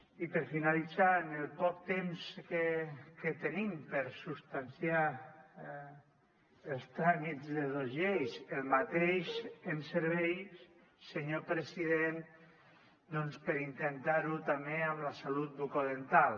i per finalitzar en el poc temps que tenim per substanciar els tràmits de dos lleis el mateix ens serveix senyor president doncs per intentar ho també amb la salut bucodental